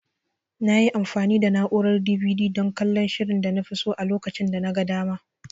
Nayi amfani da na'urar DVD dan kallon shirin danafi so a lokacin danaga dama.